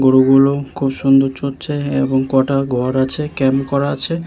গরুগুলো খুব সুন্দর চরছে এবং কটা ঘর আছে। ক্যাম্প করা আছে।